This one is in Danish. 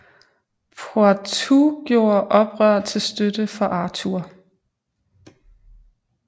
Poitou gjorde oprør til støtte for Arthur